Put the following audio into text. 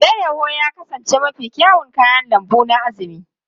Alayyahu ya kasance mafi kyawun kayan lambu na Azumi.